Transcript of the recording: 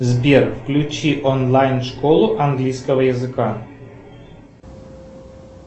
сбер включи онлайн школу английского языка